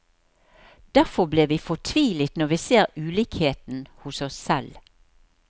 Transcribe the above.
Derfor blir vi fortvilet når vi ser ulikheten hos oss selv.